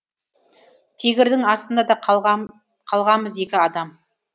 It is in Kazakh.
тигрдың астында да қалғамыз екі адам